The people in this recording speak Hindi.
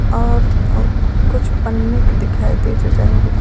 और कुछ पन्नीक दिखाई दे रहे हैं रंग बिरंग।